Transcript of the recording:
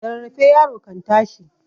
Da rarraafe yaro kan tashi.